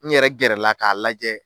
N yɛrɛ gɛrɛ la k'a lajɛ.